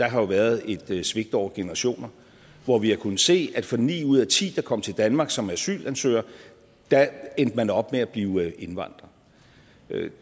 har jo været et svigt over generationer hvor vi har kunnet se at for ni ud af ti der kom til danmark som asylansøger endte man op med at blive indvandrer